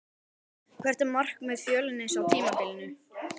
Hvert er markmið Fjölnis á tímabilinu?